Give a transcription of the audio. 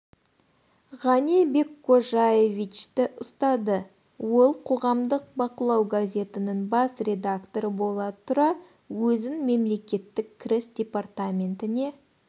ғани беккожаевичті ұстады ол қоғамдық бақылау газетінің бас редакторы бола тұра өзін мемлекеттік кіріс департаментіне